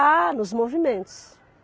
Ah, nos movimentos.